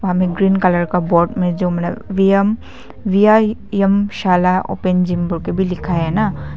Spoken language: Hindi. ग्रीन कलर का बोर्ड में जो व्यम वीआईएम शाला ओपन जिम करके भी लिखा है ना।